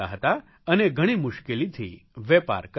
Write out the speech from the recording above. અને ઘણી મુશ્કેલીથી વેપાર કરતા હતા